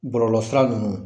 Bɔlɔlɔ sira nunun